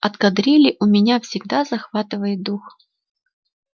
от кадрили у меня всегда дух захватывает